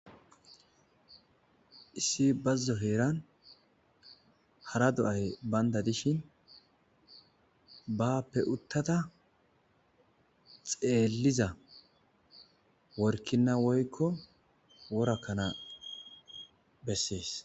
issi bazzo heeran hara do7ahe baynda dishin bappe uttada xeelliza workina woykko worakkana bessees